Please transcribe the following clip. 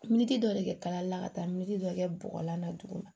dɔ de bɛ kɛ kalali la ka taa miliyɔ dɔ kɛ bɔgɔlan na duguma